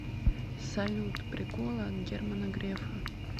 салют приколы от германа грефа